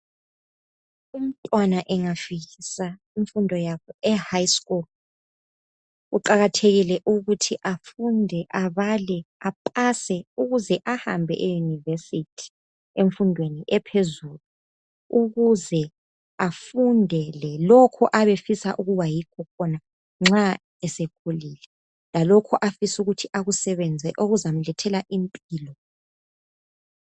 Umntwana angafikisa imfundo yakhe ehigh school. Kuqakathekile ukuthi afunde, abale apase. Ukuze ahambe e- university. Emfundweni ephezulu. Ukuze afundele lokho abefisa ukuba yikho khona nxa esekhulile. Lalokho afisa ukuthi akusebenze. Okuzamlethela impilo.